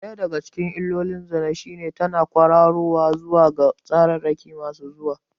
Ɗaya daga cikin illolin zina shine tana ƙwararowa zuwa tsararraki masu zuwa.